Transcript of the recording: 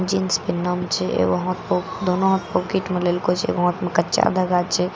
Jeans पिनन छे एगो हाथ पो दोनो हाथ पॉकिट मे लेलको छे एगो हाथ में कच्चा धागा छे।